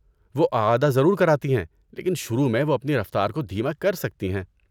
وہ اعادہ ضرور کراتی ہیں لیکن شروع میں وہ اپنی رفتار کو دھیما کرسکتی ہیں۔